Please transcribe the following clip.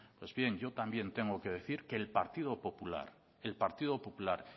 pues bien yo también tengo que decir que el partido popular